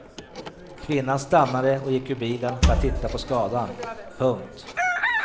Kvinnan stannade och gick ur bilen för att titta på skadan. punkt